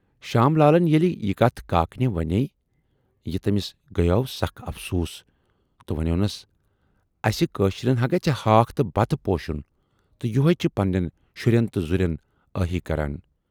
شام لالن ییلہِ یہِ کتھ کاکنہِ ونے یہِ، تمِٔس گٔیاو سخ افسوٗس تہٕ ونیونس"اسہِ کٲشرٮ۪ن ہا گژھِ ہاکھ تہٕ بتہٕ پوشن تہٕ یِہےَ چھِ پنہٕ نٮ۪ن شُرٮ۪ن تہٕ زُرٮ۪ن ٲہی کران۔